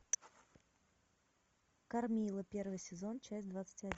кармилла первый сезон часть двадцать один